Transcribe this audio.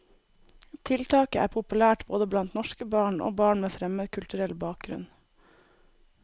Tiltaket er populært både blant norske barn og barn med fremmedkulturell bakgrunn.